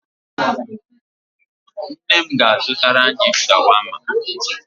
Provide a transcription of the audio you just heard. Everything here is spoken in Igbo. Nne m ga-azụtara anyị shawama.